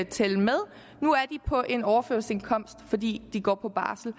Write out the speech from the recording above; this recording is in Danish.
tælle med nu er de på en overførselsindkomst fordi de går på barsel